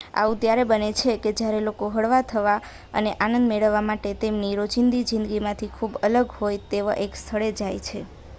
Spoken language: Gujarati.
આવું ત્યારે બને છે કે જ્યારે લોકો હળવા થવા અને આનંદ મેળવવા માટે તેમની રોજીંદી જિંદગીમાંથી જે ખૂબ અલગ હોય તેવા એક સ્થળે જાય છે